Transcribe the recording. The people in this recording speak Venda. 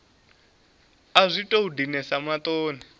a zwi tou dinesa maṱoni